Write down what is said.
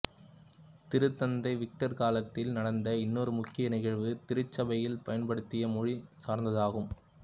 திருத்தந்தை விக்டர் காலத்தில் நடந்த இன்னொரு முக்கிய நிகழ்வு திருச்சபையில் பயன்படுத்திய மொழி சார்ந்ததாகும்